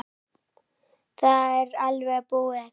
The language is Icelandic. Það er alveg búið.